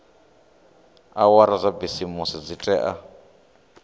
awara dza bisimisi dzi tea